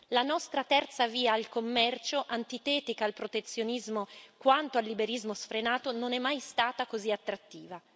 La nostra terza via al commercio, antitetica al protezionismo quanto al liberismo sfrenato, non è mai stata così attrattiva.